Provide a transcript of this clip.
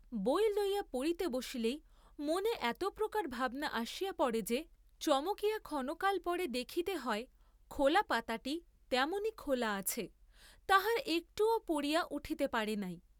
বই লইয়া পড়িতে বসিলেই মনে এত প্রকার ভাবনা আসিয়া পড়ে যে, চমকিয়া ক্ষণকাল পরে দেখিতে হয় খোলা পাতাটি তেমনিই খোলা আছে, তাহার একটুও পড়িয়া উঠিতে পারেন নাই।